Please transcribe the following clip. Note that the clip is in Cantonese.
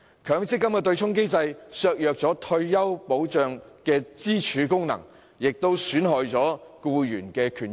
強積金的對沖機制削弱了退休保障的支柱功能，也損害了僱員的權益。